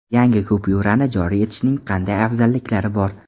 Yangi kupyurani joriy etishning qanday afzalliklari bor?